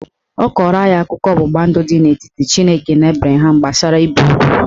Ọ kọrọ anyị akụkọ ọgbụgba ndụ dị n'etiti Chineke na Abraham gbasara ibe ugwu